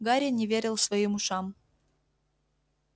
гарри не верил своим ушам